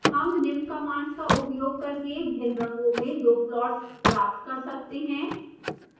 हम निम्न कमांड्स का उपयोग करके भिन्न रंगों में दो प्लॉट्स प्राप्त कर सकते हैं